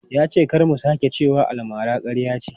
Ya ce kar mu sake cewa almara ƙarya ce.